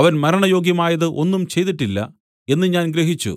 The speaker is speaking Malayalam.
അവൻ മരണയോഗ്യമായത് ഒന്നും ചെയ്തിട്ടില്ല എന്ന് ഞാൻ ഗ്രഹിച്ചു